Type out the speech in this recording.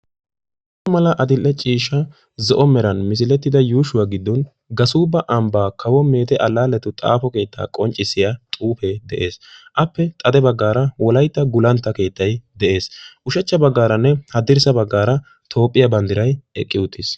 Adl"e ciishsha zo'o meran xaafettida xuufee giddon Gassuba ambba kawo meeze xaafo keetta qonccissiya xuufe de'ees. Appe xade baggaara wolaytta gulantta keettay de'ees. Ushachcha baghaaranne haddirssa baggaara Toophiyaa banddiray eqqi uttiis.